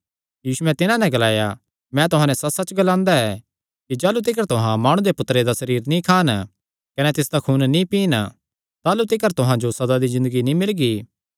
यीशुयैं तिन्हां नैं ग्लाया मैं तुहां नैं सच्चसच्च ग्लांदा ऐ कि जाह़लू तिकर तुहां माणु दे पुत्तरे दा सरीर नीं खान कने तिसदा खून नीं पीन ताह़लू तिकर तुहां जो सदा दी ज़िन्दगी नीं मिलगी